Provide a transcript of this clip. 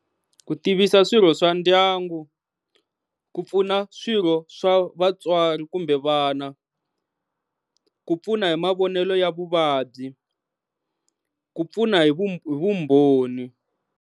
Ku tivisa swirho swa ndyangu, ku pfuna swirho swa vatswari kumbe vana, ku pfuna hi mavonelo ya vuvabyi, ku pfuna hi vu hi vumbhoni.